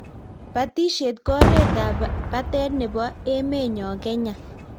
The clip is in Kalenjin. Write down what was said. batishet ko oret ab batet nebo emenyo Kenya